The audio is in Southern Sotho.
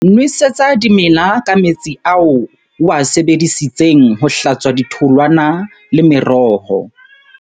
Nwesetsa dimela ka metsi ao o a sebedisitseng ho hlatswa ditholwana le meroho.